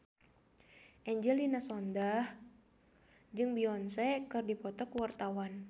Angelina Sondakh jeung Beyonce keur dipoto ku wartawan